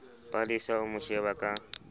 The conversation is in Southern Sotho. palesa o mo sheba ka